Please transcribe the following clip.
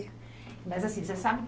Mas assim, você sabe